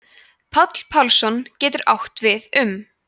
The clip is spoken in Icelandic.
páll pálsson getur átt við um